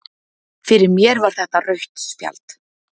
Fyrir mér var þetta rautt spjald